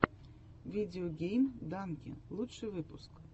видео гейм данки лучший выпуск